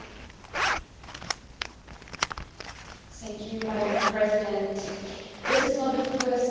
Madam President, this is not the first time that we have discussed the situation in Burundi.